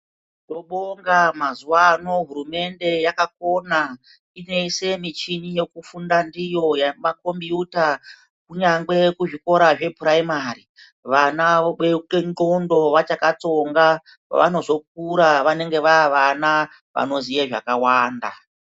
Tinobonga mazuwano hurumende yakakona, inoise michini yekufunda ndiyo yomakimbiyuta kunyangwe kuzvikora zvephuraimari vana vobeuke ndxondo vachakatsonga, pavanozokura vanenge vavana vanoziye zvakawanda.